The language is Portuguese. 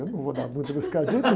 Eu não vou dar muito nesse cardíaco.